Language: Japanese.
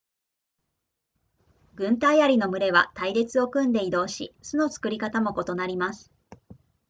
軍隊アリの群れは隊列を組んで移動し巣の作り方も異なります